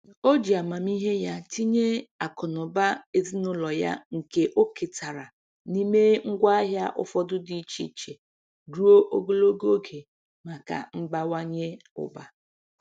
O ji amamihe ya tinye akụ na ụba ezinụlọ ya nke o ketara n'ime ngwaahịa ụfọdụ dị iche iche ruo ogologo oge maka mbawanye ụba.